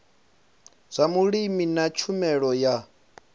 zwa vhulimi na tshumelo ya